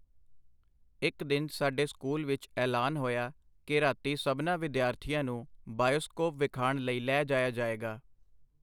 ਇਕ ਦਿਨ ਸਾਡੇ ਸਕੂਲ ਵਿਚ ਐਲਾਨ ਹੋਇਆ ਕਿ ਰਾਤੀਂ ਸਭਨਾਂ ਵਿਦਿਆਰਥੀਆਂ ਨੂੰ ਬਾਇਸਕੋਪ ਵਿਖਾਣ ਲਈ ਲੈ ਜਾਇਆ ਜਾਏਗਾ.